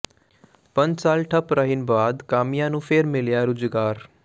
ਪੰਜ ਸਾਲ ਠੱਪ ਰਹਿਣ ਬਾਅਦ ਕਾਮਿਆਂ ਨੂੰ ਫੇਰ ਮਿਲਿਆ ਰੁਜ਼ਗਾਰ